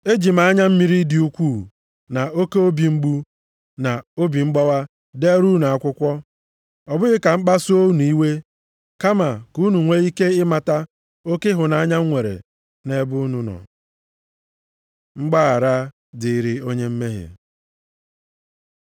Eji m anya mmiri dị ukwuu na oke obi mgbu na obi mgbawa deere unu akwụkwọ, ọ bụghị ka m kpasuo unu iwe kama ka unu nwee ike ịmata oke ịhụnanya m nwere nʼebe unu nọ. Mgbaghara dịrị onye mmehie